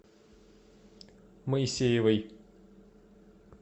моисеевой